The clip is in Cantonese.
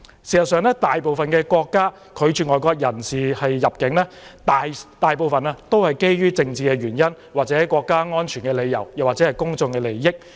事實上，大部分國家拒絕外國人士入境時，大都基於政治原因、國家安全理由或公眾利益。